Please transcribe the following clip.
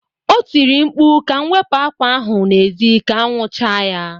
O tiri mkpu ka m wepụ akwa ahụ n'ezi ka anwụ chaa ya